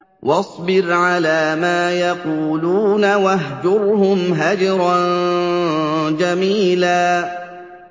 وَاصْبِرْ عَلَىٰ مَا يَقُولُونَ وَاهْجُرْهُمْ هَجْرًا جَمِيلًا